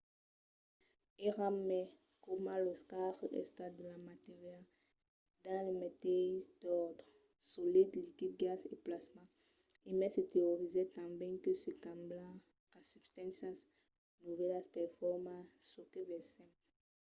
èra mai coma los quatre estats de la matèria dins lo meteis òrdre: solid liquid gas e plasma e mai se teorizèt tanben que se càmbian en substàncias novèlas per formar çò que vesèm